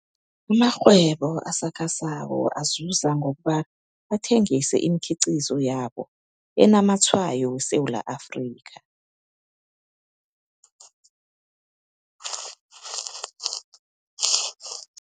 Amarhwebo asakhasako azuza ngokobana athengise iimkhiqizo yabo esinamatshwayo weSewula Afrika.